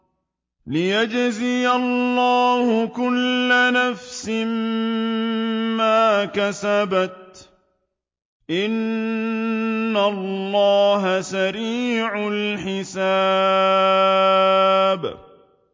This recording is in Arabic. لِيَجْزِيَ اللَّهُ كُلَّ نَفْسٍ مَّا كَسَبَتْ ۚ إِنَّ اللَّهَ سَرِيعُ الْحِسَابِ